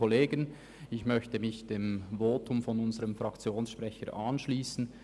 Ich möchte mich dem Votum des Fraktionssprechers anschliessen.